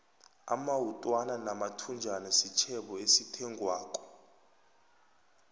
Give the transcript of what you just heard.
amawutwana namathunjana sitjhebo esithengwako